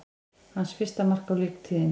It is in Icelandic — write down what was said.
Hans fyrsta mark á leiktíðinni